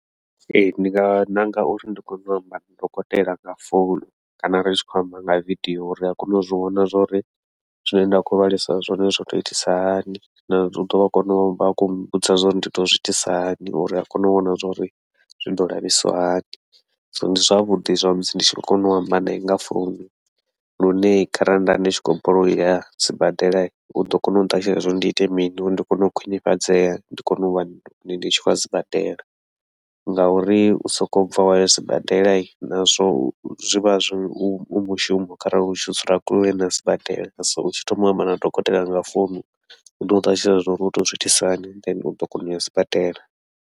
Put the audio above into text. Ee, ndi nga ṋanga uri ndi kone u amba na dokotela nga founu, kana ri tshi khou amba nga video uri a kone u zwivhona zwauri zwine nda khou lwalisa zwone zwo tou itisa hani, nau ḓovha a kona uvha khou vhudza zwauri ndi tou zwiitisa hani uri a kone u vhona zwa uri zwi ḓo lafhisiwa hani, so ndi zwavhuḓi zwa musi ndi tshi khou kona u amba nae nga founu. Lune kharali nda ndi tshi khou balelwa uya sibadela uḓo kona u ṱalutshedza zwauri ndi ite mini, uri ndi kone u khwiṋifhadzea ndi kone uvha ndi tshi khou ya sibadela ngauri u sokou bva wa ya sibadela nazwo zwi vha zwi u mushumo, kharali u tshi dzula kule na sibadela so u tshi thoma u amba na dokotela nga founu uḓo u ṱalutshedza zwo uri utou zwiitisa hani then uḓo kona uya sibadela.